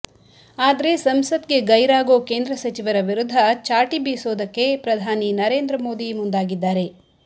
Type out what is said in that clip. ಆದ್ರೆ ಸಂಸತ್ ಗೆ ಗೈರಾಗೋ ಕೇಂದ್ರ ಸಚಿವರ ವಿರುದ್ದ ಚಾಟಿ ಬೀಸೋದಕ್ಕೆ ಪ್ರಧಾನಿ ನರೇಂದ್ರ ಮೋದಿ ಮುಂದಾಗಿದ್ದಾರೆ